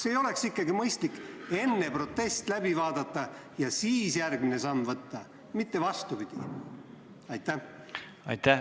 Kas ei oleks ikkagi mõistlik enne protest läbi vaadata ja alles siis järgmine samm teha, mitte vastupidi?